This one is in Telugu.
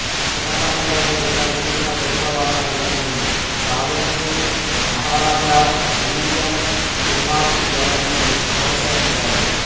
చిన్నతనంలోనే ఇతను చూపిన ప్రతిభ వలన ఇతనిని ట్రావెన్కూర్ మహారాజా అయిల్యమ్ తిరునాళ్ చేరదీసి ప్రోత్సహించాడు